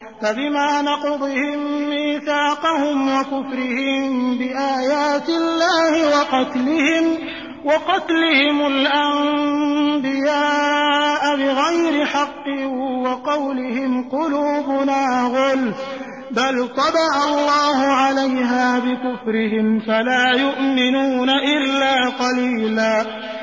فَبِمَا نَقْضِهِم مِّيثَاقَهُمْ وَكُفْرِهِم بِآيَاتِ اللَّهِ وَقَتْلِهِمُ الْأَنبِيَاءَ بِغَيْرِ حَقٍّ وَقَوْلِهِمْ قُلُوبُنَا غُلْفٌ ۚ بَلْ طَبَعَ اللَّهُ عَلَيْهَا بِكُفْرِهِمْ فَلَا يُؤْمِنُونَ إِلَّا قَلِيلًا